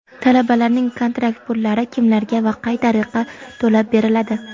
Talabalarning kontrakt pullari kimlarga va qay tariqa to‘lab beriladi?.